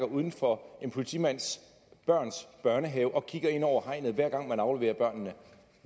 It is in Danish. uden for en politimands børns børnehave og kigger ind over hegnet hver gang man afleverer børnene